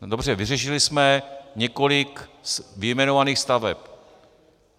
Dobře, vyřešili jsme několik vyjmenovaných staveb.